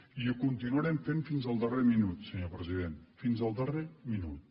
i ho continuarem fent fins al darrer minut senyor president fins al darrer minut